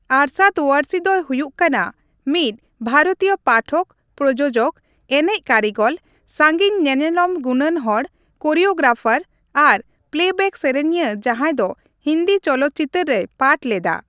ᱟᱨᱥᱟᱫ ᱳᱣᱟᱨᱥᱤ ᱫᱚᱭ ᱦᱩᱭᱩᱜ ᱠᱟᱱᱟ ᱢᱤᱫ ᱵᱷᱟᱨᱚᱛᱤᱭᱚ ᱯᱟᱴᱷᱚᱠ, ᱯᱨᱳᱡᱳᱡᱚᱠ, ᱮᱱᱮᱡ ᱠᱟᱹᱨᱤᱜᱚᱞ, ᱥᱟᱺᱜᱤᱧ ᱧᱮᱱᱮᱞᱚᱢ ᱜᱩᱱᱟᱱᱦᱚᱲ, ᱠᱳᱨᱤᱭᱳᱜᱨᱟᱯᱷᱟᱨ ᱟᱨ ᱯᱞᱮᱵᱮᱠ ᱥᱮᱨᱮᱧᱤᱭᱟᱹ ᱡᱟᱸᱦᱟᱭ ᱫᱚ ᱦᱤᱱᱫᱤ ᱪᱚᱞᱚᱛ ᱪᱤᱛᱟᱹᱨ ᱨᱮᱭ ᱯᱟᱴᱷ ᱞᱮᱫᱟ ᱾